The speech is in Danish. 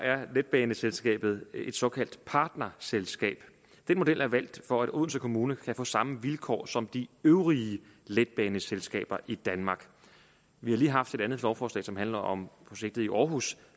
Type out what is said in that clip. er letbaneselskabet et såkaldt partnerselskab den model er valgt for at odense kommune kan få samme vilkår som de øvrige letbaneselskaber i danmark vi har lige haft et andet lovforslag som handler om projektet i aarhus